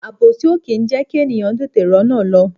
Àbòsí o kì í jẹkí ènìyàn tètè r'ona lọ.